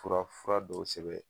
Fura fura dɔw sɛbɛn